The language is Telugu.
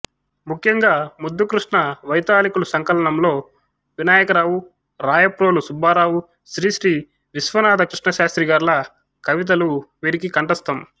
ముఖ్యంగా ముద్దుకృష్ణ వైతాళికులు సంకలనంలో వినాయకరావు రాయప్రోలు సుబ్బారావు శ్రీశ్రీ విశ్వనాథ కృష్ణశాస్త్రిగార్ల కవితలు వీరికి కంఠస్థం